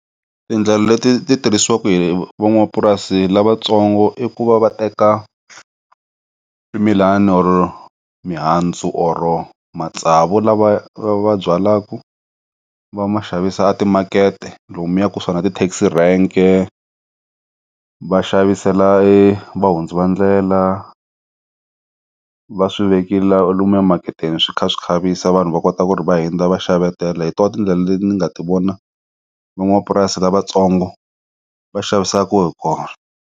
Tindlela leti ti tirhisiwaka hi van'wamapurasi lavatsongo i ku va va teka swimilana or-o mihandzu or-o matsavu lava va byalaku va ma xavisa timakete lomuya kusuhi na tithekisi rank-e va xavisela e va hundzi va ndlela va swivekiwile lomuya mi maketeni swi kha swi khavisa vanhu va kota ku ri va hundza va xavetela hi tona tindlela leti nga ti vona van'wamapurasi lavatsongo va xavisaka hi kona.